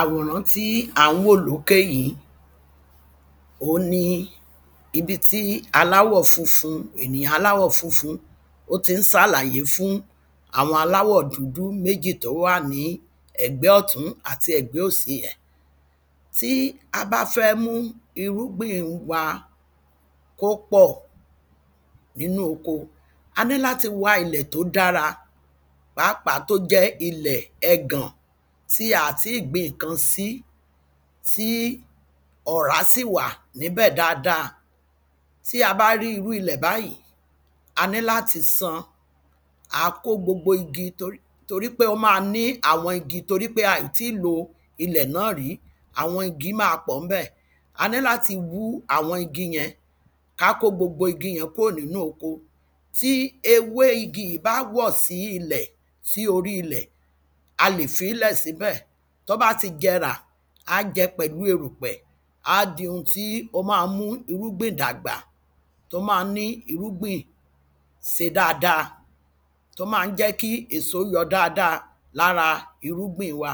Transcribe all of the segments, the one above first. àwòràn tí à ń wò lókè yí òun ni ibi tí aláwọ̀ funfun ènìyàn aláwọ̀ funfun ó tí ń sálàyé fún àwọn aláwọ̀ dúdú méjì tó wà ní ẹ̀gbẹ́ ọ̀tún àti ẹ̀gbẹ́ òsi rẹ̀ tí a bá fẹ́ mú irúgbìn wa kó pọ̀ nínú oko a ní láti wá ilẹ̀ tó dára pàápà tó jẹ́ ilẹ̀ ẹgàn tí à ti gbìn kan sí tí ọ̀rá sì wà níbẹ̀ dada tí a bá rí irú ilẹ̀ báyìí a ní láti san àá kó gbogbo igi torí pé ó ma ní àwọn igi torí pé aìti lo ilẹ̀ náà ri àwọn igi ma pọ̀ níbẹ̀ a ní láti wú àwọn igi yẹn ká kó gbogbo igi yẹn kúrò nínú oko tí ewé igi yìí bá wọ̀ sí ilẹ̀ sí orí ilẹ̀ a lè fí lẹ̀ sí bẹ̀ ó bá ti jẹrà á jẹ pẹ̀lú erùpẹ̀ á di ohun tí ó ma mú irúgbìn dàgbà tó ma ń ní irúgbìn se dáada tó má ń jẹ́ kí èso yọ dáada lára irúgbìn wa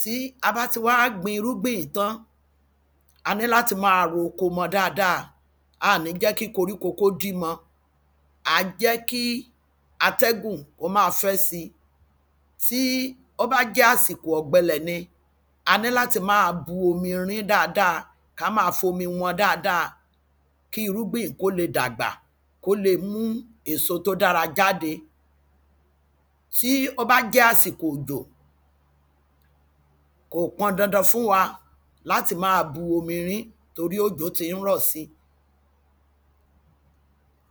tí a bá ti wá gbin irúgbìn yí tán a ní láti máa ro oko mọ dáadáa a nì jẹ́ kí koríko kó dí mọ àá jẹ́ kí atẹgùn kó ma fẹ́ si tí ó bá jẹ́ àsìkò ọ̀gbẹlẹ̀ ni a ní láti máa bu omi rín dáadáa ká ma fomi wọ́n dáadáa kí irúgbìn kó le dàgbà kó le mú èso tó dára jáde tí ó bá jẹ́ àsìkò òjò kò pọn dandan fún wa láti máa bu omi rín torí òjò tí ń rọ̀ si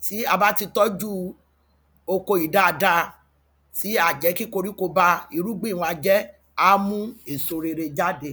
ti a bá ti tọ́jú oko yí dáadáa tí a jẹ́ kí koríko ba irúgbìn wa jẹ́ á mú èso rere jáde